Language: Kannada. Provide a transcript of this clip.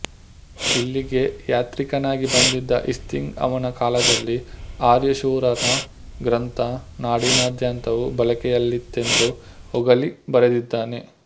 ಇಲ್ಲಿಗೆ ಯಾತ್ರಿಕನಾಗಿ ಬಂದಿದ್ದ ಇತ್ಸಿಂಗ್ ಅವನ ಕಾಲದಲ್ಲಿ ಆರ್ಯಶೂರನ ಗ್ರಂಥ ನಾಡಿನಾದ್ಯಂತವೂ ಬಳಕೆಯಲ್ಲಿತ್ತೆಂದು ಹೊಗಳಿ ಬರೆದಿದ್ದಾನೆ